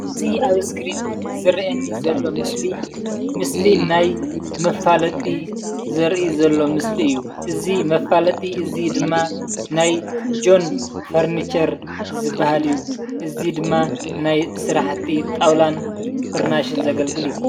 እዚ ኣብ እስክሪን ዝረአየኒ ዘሎ ምስሊ ፡ ምስሊ ናይ መፋለጢ ዘርኢ ዘሎ ምስሊ እዩ፡፡ እዚ መፋለጢ እዚ ድማ ናይ ጆን ፈርኒቸር ዝባሃል እዩ፡፡ እዚ ድማ ናይ ስራሕቲ ጣውላን ፍርናሽን ዘገልግል እዩ፡፡